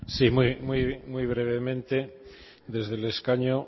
sí muy brevemente desde el escaño